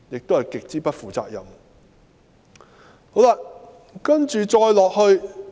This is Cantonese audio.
這是極不負責任的做法。